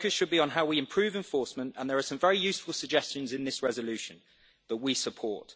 The focus should be on how we improve enforcement and there are some very useful suggestions in this resolution that we support.